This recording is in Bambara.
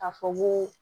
Ka fɔ koo